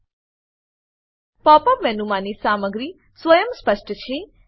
pop up મેનુમાની સામગ્રી સ્વયંસ્પષ્ટ છે